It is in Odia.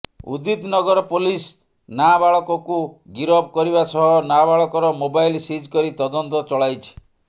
ଉଦିତନଗର ପୋଲିସ ନାବାଳକକୁ ଗିରଫ କରିବା ସହ ନାବାଳକର ମୋବାଇଲ ସିଜ୍ କରି ତଦନ୍ତ ଚଳାଇଛି